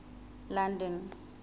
london